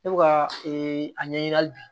Ne bɛ ka a ɲɛɲini hali bi